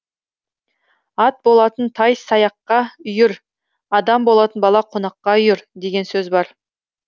ат болатын тай саяққа үйір адам болатын бала қонаққа үйір деген сөз бар